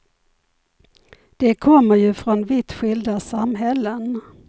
De kommer ju från vitt skilda samhällen.